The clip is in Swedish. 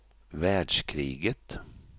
världskriget